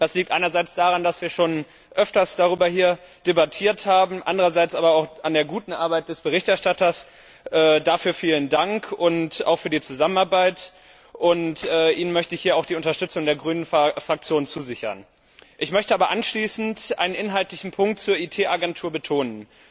Das liegt einerseits daran, dass wir schon öfter darüber debattiert haben, andererseits aber auch an der guten Arbeit des Berichterstatters vielen Dank dafür und auch für die Zusammenarbeit. Ihnen möchte ich hier auch die Unterstützung der Grünen Fraktion zusichern. Ich möchte aber anschließend einen inhaltlichen Punkt zur IT Agentur betonen.